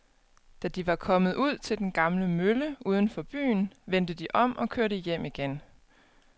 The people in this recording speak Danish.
Da de var kommet ud til den gamle mølle uden for byen, vendte de om og kørte hjem igen.